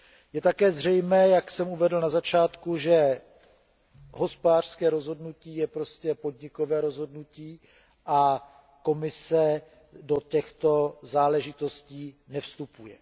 Je také zřejmé, jak jsem uvedl na začátku, že hospodářské rozhodnutí je prostě podnikové rozhodnutí a Komise do těchto záležitostí nevstupuje.